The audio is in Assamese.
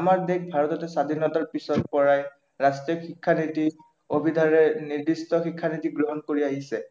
আমাৰ দেশ ভাৰততো স্বাধীনতাৰ পিছৰ পৰাই ৰাষ্ট্ৰীয় শিক্ষা নীতি অভিধাৰে নিৰ্দিষ্ট শিক্ষানীতি গ্ৰহণ কৰি আহিছে